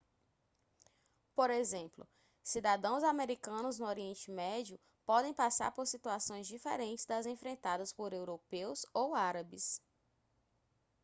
por exemplo cidadãos americanos no oriente médio podem passar por situações diferentes das enfrentadas por europeus ou árabes